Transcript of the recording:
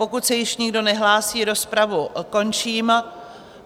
Pokud se již nikdo nehlásí, rozpravu končím.